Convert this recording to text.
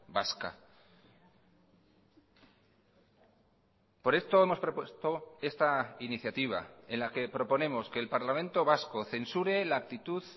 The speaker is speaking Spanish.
vasca por esto hemos propuesto esta iniciativa en la que proponemos que el parlamento vasco censure la actitud